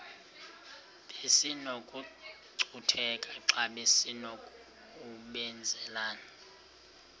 besinokucutheka xa besinokubenzela